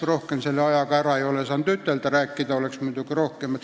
Rohkem ma selle ajaga öelda ei saanud, rääkida oleks muidugi enam.